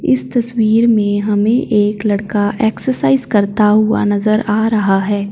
इस तस्वीर में हमें एक लड़का ॲक्ससाइज करता हुवा नजर आ रहा हैं।